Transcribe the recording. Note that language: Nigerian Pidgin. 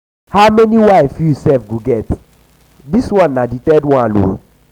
how many wife you sef go get dis one na um the third one.